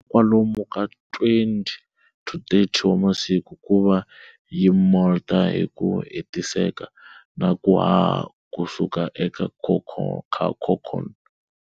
Kwalomu ka 20-30 wa masiku kuva yi molt hiku hetiseka naku haha kusuka eka cocoon.